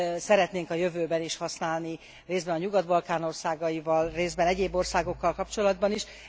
szeretnénk a jövőben is használni, részben a nyugat balkán országaival, részben egyéb országokkal kapcsolatban is.